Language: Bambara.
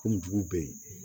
Komi dugu bɛ yen